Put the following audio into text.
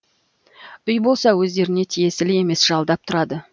үй болса өздеріне тиесілі емес жалдап тұрады